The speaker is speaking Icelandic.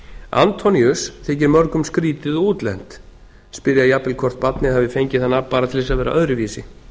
antoníus þykir mörgum skrýtið og útlent spyrja jafnvel hvort barnið hafi fengið það nafn bara til þess að vera öðruvísi